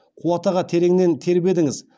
қуат аға тереңнен тербедіңіз